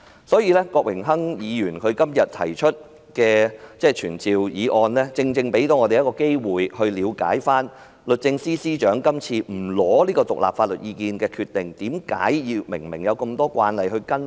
所以，郭榮鏗議員今天提出的傳召議案，正正給我們一個機會，以了解律政司司長今次不尋求獨立法律意見的決定，為何有這麼多慣例她不跟隨？